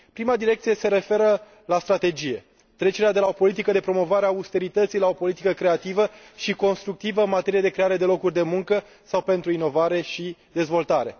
Prima direcție se referă la strategie trecerea de la o politică de promovare a austerității la o politică creativă și constructivă în materie de creare de locuri de muncă sau pentru inovare și dezvoltare.